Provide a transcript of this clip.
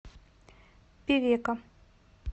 певека